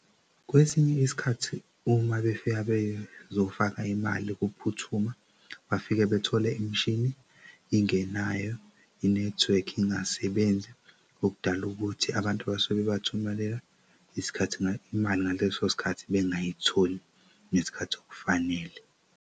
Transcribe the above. Kwesinye isikhathi uma befika bezofaka imali kuphuthuma bafike bethole imishini ingenayo inethwekhi ingasebenzi okudala ukuthi abantu abasuke bathumelela isikhathi imali ngaleso sikhathi bengayitholi nesikhathi okufanele.